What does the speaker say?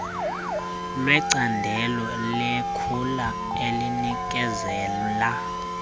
lwecandelo lekhula elinikezela